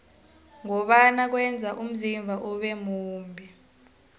ngombana kweza umzimba ube mumbi